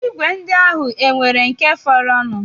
Igwe ndị ahụ e nwere nke fọrọnụ?